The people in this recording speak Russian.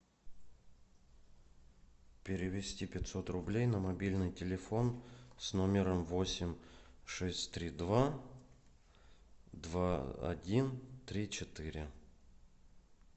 перевести пятьсот рублей на мобильный телефон с номером восемь шесть три два два один три четыре